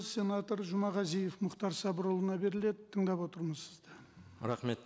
сенатор жұмағазиев мұхтар сабырұлына беріледі тыңдап отырмыз сізді рахмет